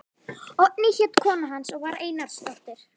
Oddný hét kona hans og var Einarsdóttir.